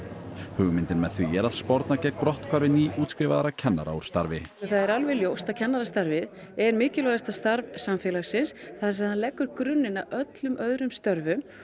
hugmyndin með því er að sporna gegn brotthvarfi nýútskrifaðra kennara úr starfi það er alveg ljóst að kennarastarfið er mikilvægasta starf samfélagsins þar sem það leggur grunninn að öllum öðrum störfum